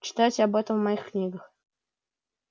читайте об этом в моих книгах